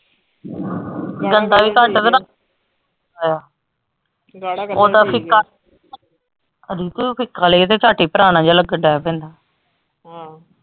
ਗੰਦਾ ਵੀ ਘੱਟ ਓਦਾਂ ਫਿੱਕਾ ਬਿਲਕੁਲ ਹੀ ਫਿੱਕਾ ਲਈਏ ਤੇ ਝੱਟ ਹੀ ਪੁਰਾਣ ਜੇਹਾ ਲੱਗਣ ਲਗ ਪੈਂਦਾ ਆਹੋ।